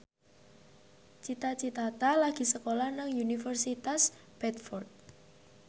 Cita Citata lagi sekolah nang Universitas Bradford